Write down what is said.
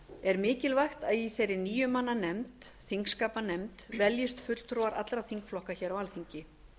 er mikilvægt að í þá níu manna nefnd þingskapanefnd veljist fulltrúar allra þingflokka hér á alþingi